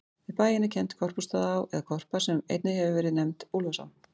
Við bæinn er kennd Korpúlfsstaðaá, eða Korpa, sem einnig hefur verið nefnd Úlfarsá.